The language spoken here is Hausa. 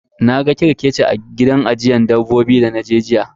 Na ga kerkeci a gida ajiyan dabbobi dana je jiya.